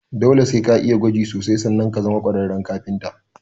Dole sai ka'iya gwaji sosai sanan ka zama ƙwararren kafinta